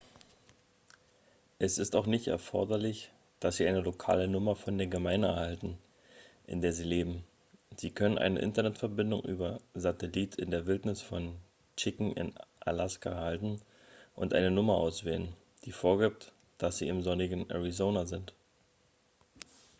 es ist auch nicht erforderlich dass sie eine lokale nummer von der gemeinde erhalten in der sie leben sie können eine internetverbindung über satellit in der wildnis von chicken in alaska erhalten und eine nummer auswählen die vorgibt dass sie im sonnigen arizona sind